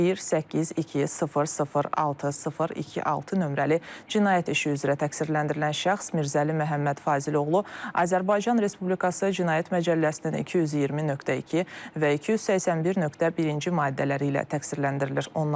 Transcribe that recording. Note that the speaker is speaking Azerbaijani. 182006026 nömrəli cinayət işi üzrə təqsirləndirilən şəxs Mirzəli Məhəmməd Fazil oğlu Azərbaycan Respublikası Cinayət Məcəlləsinin 220.2 və 281.1-ci maddələri ilə təqsirləndirilir.